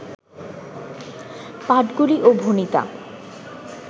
পাঠগুলি ও ভণিতা